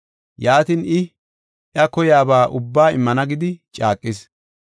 Yaatin, I, “Iya koyaba ubbaa immana gidi” caaqis.